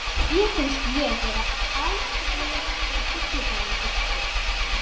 Mér finnst ég vera allslaus og villuráfandi.